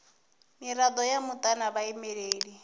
mirado ya muta na vhaimeleli